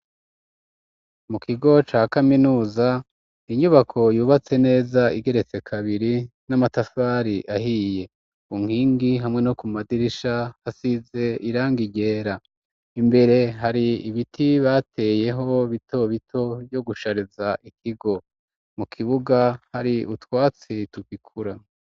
Mu kigo ca kaminuza, inyubako yubatse neza, igeretse kabiri, n'amatafari ahiye; ku nkingi, hamwe no ku madirisha, hasize irangi ryera; imbere, hari ibiti bateyeho, bito bito, vyo kushariza ikigo; mu kibuga, hari utwatsi tugikura.